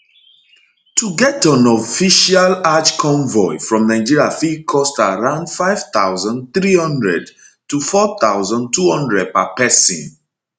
to get on official hajj convoy from nigeria fit cost around 5300 4200 per pesin